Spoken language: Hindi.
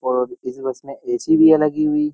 और इस बस में ए.सी. भी है लगी हुई।